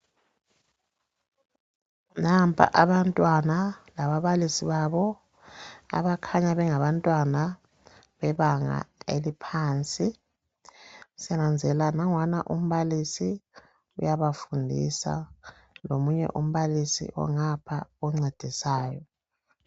Nampa abantwana lababalisi babo abakhanya bengaba ntwana bebanga eliphansi. Sinanzelela nangwana umbalisi uyabafundisa lomunye umbalisi ongapha oncedisayo.